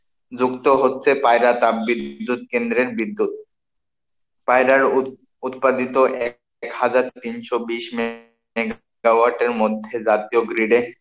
যুক্ত হচ্ছে পায়রা তাপ বিদ্যুৎ কেন্দ্রের বিদ্যুৎ, পায়রার উৎ~উৎপাদিত এক হাজার তিনশো বিশ megawatt এর মধ্যে জাতীয় grid এ,